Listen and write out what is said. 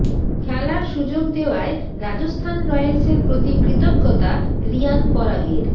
খেলার সু্যোগ দেওয়ায় রাজস্থান রয়েলসের প্ৰতি কৃতজ্ঞতা রিয়ান পরাগের